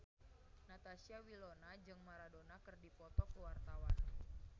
Natasha Wilona jeung Maradona keur dipoto ku wartawan